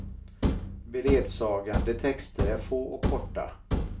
Beledsagande texter är få och korta.